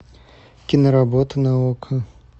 киноработа на окко